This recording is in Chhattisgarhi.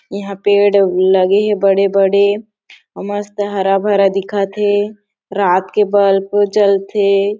यहाँ पेड़ लगे हे बड़े बड़े मस्त हरा भरा दिखत हे रात के बल्ब जलथे --